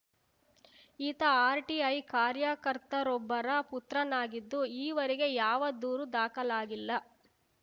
ಈತ ಆರ್‌ಟಿಐ ಕಾರ್ಯಕರ್ತರೊಬ್ಬರ ಪುತ್ರನಾಗಿದ್ದು ಈವರೆಗೆ ಯಾವ ದೂರು ದಾಖಲಾಗಿಲ್ಲ